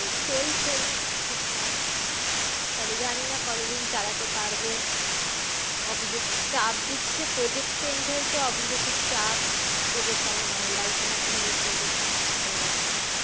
চলছে ঠিকঠাক। তবে জানিনা কতদিন চালাতে পারবো? অফিসে তো চাপ দিচ্ছে project change হয়েছে অফিসে খুব চাপ। project আমার ভালো লাগছে না এখন new project ভালো লাগছেনা।